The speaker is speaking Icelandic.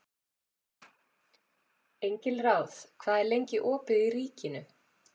Engilráð, hvað er lengi opið í Ríkinu?